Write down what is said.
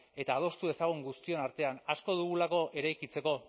eta adostu dezagun guztion artean asko dugulako eraikitzeko